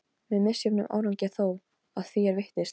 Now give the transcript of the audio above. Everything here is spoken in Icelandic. Með misjöfnum árangri þó, að því er virtist.